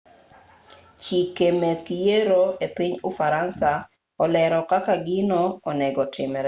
cheke meg yiero e piny ufaransa olero kaka gino onegotimre